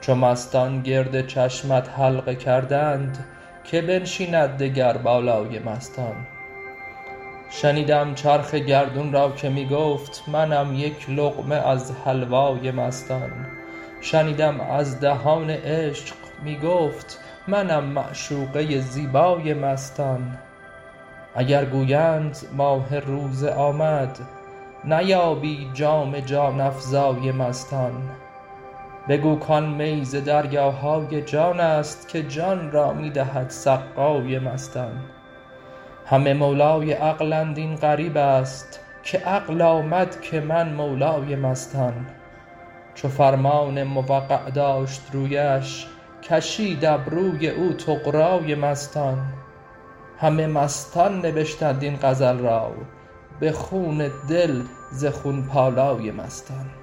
چو مستان گرد چشمت حلقه کردند کی بنشیند دگر بالای مستان شنیدم چرخ گردون را که می گفت منم یک لقمه از حلوای مستان شنیدم از دهان عشق می گفت منم معشوقه زیبای مستان اگر گویند ماه روزه آمد نیابی جام جان افزای مستان بگو کان می ز دریاهای جان است که جان را می دهد سقای مستان همه مولای عقلند این غریب است که عقل آمد که من مولای مستان چو فرمان موقع داشت رویش کشید ابروی او طغرای مستان همه مستان نبشتند این غزل را به خون دل ز خون پالای مستان